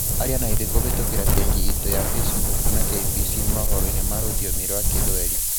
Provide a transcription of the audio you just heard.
Aria naithuĩ kuvitukĩra paji itu ya Facebook na KBC mohoroini ma rũthiomi rwa kithweli.